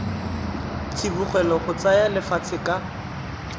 tsibogela go tsaya lefatshe ka